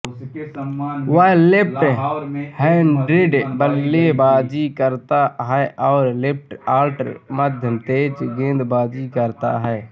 वह left handed बल्लेबाजी करता है और लेफ्टआर्ट मध्यमतेज गेंदबाजी करता है